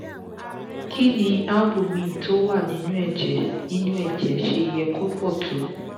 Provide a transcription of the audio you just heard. kini ni albumin tó wà nínú ẹ̀jẹ̀ nínú ẹ̀jẹ̀ ṣe ye ko pọ̀ tó?